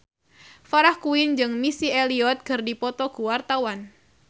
Farah Quinn jeung Missy Elliott keur dipoto ku wartawan